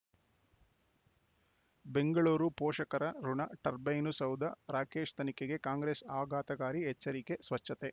ಬೆಂಗಳೂರು ಪೋಷಕರ ಋಣ ಟರ್ಬೈನು ಸೌಧ ರಾಕೇಶ್ ತನಿಖೆಗೆ ಕಾಂಗ್ರೆಸ್ ಆಘಾತಕಾರಿ ಎಚ್ಚರಿಕೆ ಸ್ವಚ್ಛತೆ